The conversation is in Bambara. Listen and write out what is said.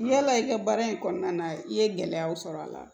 Yala i ka baara in kɔnɔna na i ye gɛlɛyaw sɔrɔ a la